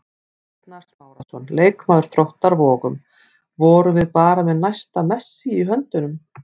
Arnar Smárason, leikmaður Þróttar Vogum: Vorum við bara með næsta Messi í höndunum?